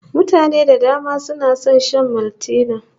Mutane da dama suna son shan Maltina